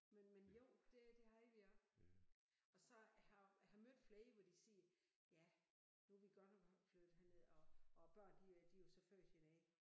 Men men jo det det havde vi også. Og så jeg har jeg har mødt flere hvor de siger ja nu vi godt nok flyttet herned og og børnene de er de jo så født hernede